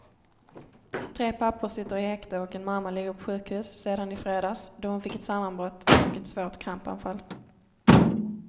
Tre pappor sitter i häkte och en mamma ligger på sjukhus sedan i fredags, då hon fick ett sammanbrott och ett svårt krampanfall.